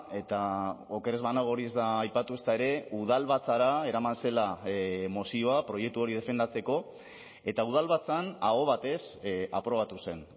eta oker ez banago hori ez da aipatu ezta ere udalbatzara eraman zela mozioa proiektu hori defendatzeko eta udalbatzan aho batez aprobatu zen